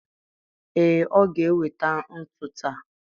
Ee, ọ ga-eweta ntu taa